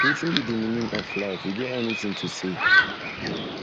wetin be di meaning of life you get any thing to say